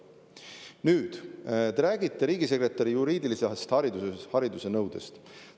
Nüüd, te räägite riigisekretäri juriidilise hariduse nõudest.